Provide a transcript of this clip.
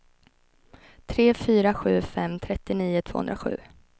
tre fyra sju fem trettionio tvåhundrasju